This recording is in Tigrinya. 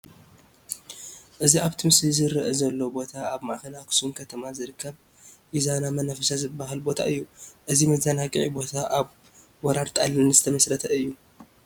እዚ ኣብቲ ምስሊ ዝርአ ዘሎ ቦታ ኣብ ማእኸል ኣኽሱም ከተማ ዝርከብ ኢዛና መናፈሻ ዝበሃል ቦታ እዩ፡፡ እዚ መዘግዓ ቦታ ኣብ ወራር ጣልያን ዝተመስረተ እዩ፡፡